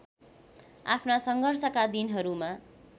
आफ्ना सङ्घर्षका दिनहरूमा